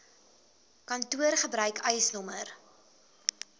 kantoor gebruik eisnr